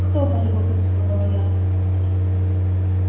кто полюбопытствовала я